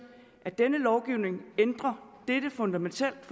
at denne lovgivning ændrer dette fundamentalt